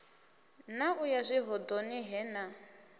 na u yazwihoḓoni he na